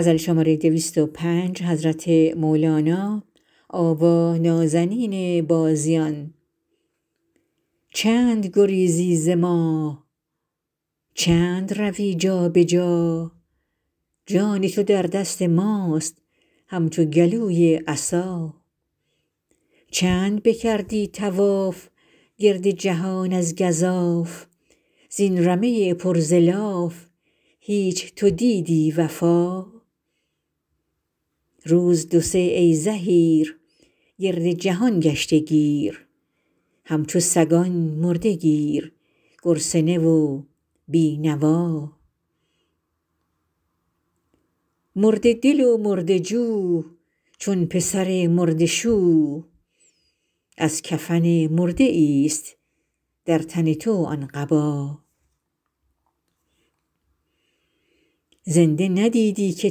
چند گریزی ز ما چند روی جا به جا جان تو در دست ماست همچو گلوی عصا چند بکردی طواف گرد جهان از گزاف زین رمه پر ز لاف هیچ تو دیدی وفا روز دو سه ای زحیر گرد جهان گشته گیر همچو سگان مرده گیر گرسنه و بی نوا مرده دل و مرده جو چون پسر مرده شو از کفن مرده ایست در تن تو آن قبا زنده ندیدی که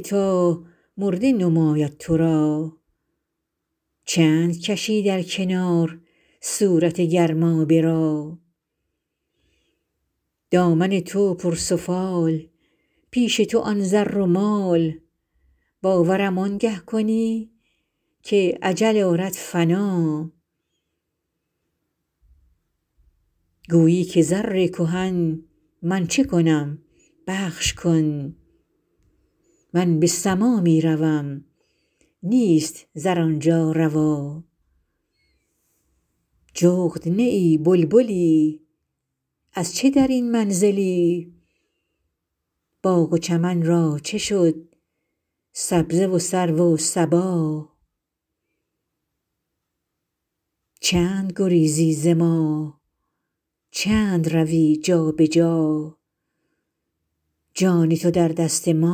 تا مرده نماید تو را چند کشی در کنار صورت گرمابه را دامن تو پرسفال پیش تو آن زر و مال باورم آنگه کنی که اجل آرد فنا گویی که زر کهن من چه کنم بخش کن من به سما می روم نیست زر آن جا روا جغد نه ای بلبلی از چه در این منزلی باغ و چمن را چه شد سبزه و سرو و صبا